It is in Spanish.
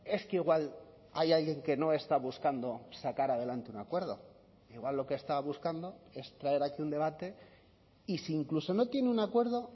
es que igual hay alguien que no está buscando sacar adelante un acuerdo igual lo que está buscando es traer aquí un debate y si incluso no tiene un acuerdo